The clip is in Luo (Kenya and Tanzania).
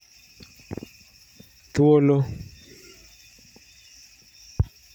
Thuolo